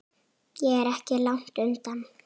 Ég er ekki langt undan.